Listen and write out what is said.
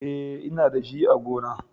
E, Ina da shi a gona.